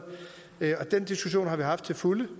den diskussion har vi haft til fulde